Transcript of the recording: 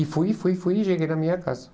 E fui, fui, fui e cheguei na minha casa.